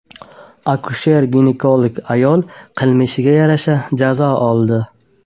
Akusher-ginekolog ayol qilmishiga yarasha qonuniy jazo oldi.